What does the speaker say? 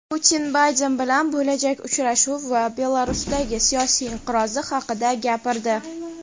Putin Bayden bilan bo‘lajak uchrashuvi va Belarusdagi siyosiy inqiroz haqida gapirdi.